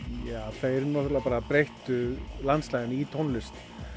þeir breyttu landslaginu í tónlist